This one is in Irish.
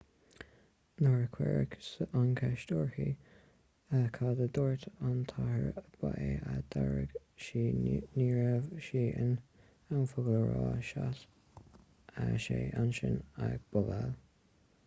nuair a cuireadh an cheist uirthi cad a dúirt an t-athair ba é a d'fhreagair sí ní raibh sé in ann focal a rá sheas sé ansin ag bobáil